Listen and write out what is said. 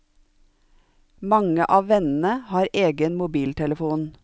Mange av vennene har egen mobiltelefon.